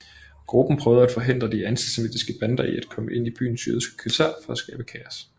Gruppen prøvede at forhindre de antisemitiske bander i at komme ind i byens jødiske kvarterer for at skabe kaos